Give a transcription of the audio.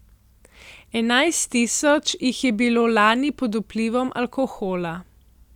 Enajst tisoč jih je bilo lani pod vplivom alkohola.